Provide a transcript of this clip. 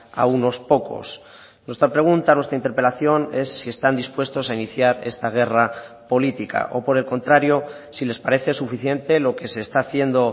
a unos pocos nuestra pregunta nuestra interpelación es si están dispuestos a iniciar esta guerra política o por el contrario si les parece suficiente lo que se está haciendo